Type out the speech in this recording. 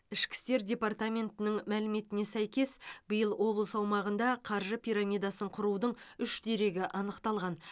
ішкі істер департаментінің мәліметіне сәйкес биыл облыс аумағында қаржы пирамидасын құрудың үш дерегі анықталған